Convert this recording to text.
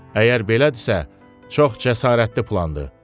Əgər belədirsə, çox cəsarətli plandır.